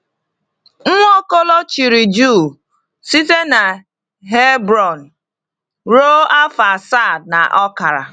Nwaokolo chịrị Juu site n’Hebron ruo afọ asaa na ọkara.